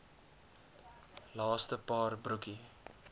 laaste paar broekie